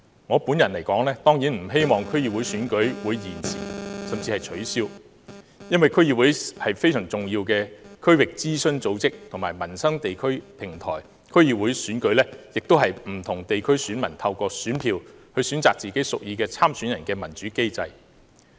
我本人當然不希望區議會選舉會延遲甚至取消，因為區議會是十分重要的區域諮詢組織及民生地區平台，區議會選舉亦是不同地區選民透過選票，選擇自己屬意的參選人的民主機制。